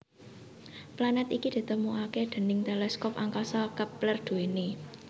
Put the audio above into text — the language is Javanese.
Planet iki ditemukaké déning teleskop angkasa Kepler duwené